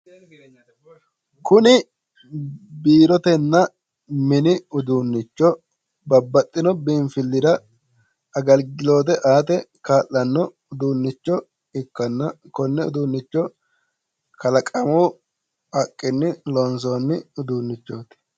Kuni biirotenna mini uduunnicho babbaxxino biinfillira agilgiloote aate kaa'lanno uduunnicho ikkanna, konne uduunnicho kalaqamu haqqenni loonsoonni uduunnichooti.